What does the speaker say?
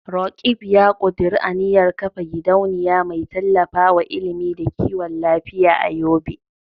Roqeeb ya kuduri aniyar kafa gidauniya mai tallafawa ilimi da kiwon lafiya a Yobe.